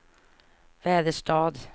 Väderstad